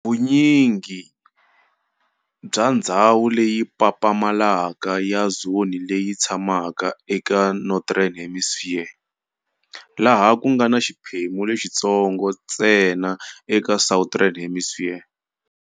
Vunyingi bya ndzhawu leyi papamalaka ya zone leyi yitshama e Northern Hemisphere, laha kungana xiphemu lexintsongo ntsena eka Southern Hemisphere.